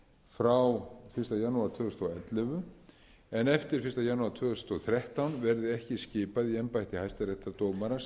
frá fyrsta janúar tvö þúsund og ellefu en eftir fyrsta janúar tvö þúsund og þrettán verði ekki skipað í embætti hæstaréttardómara sem